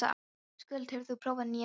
Skuld, hefur þú prófað nýja leikinn?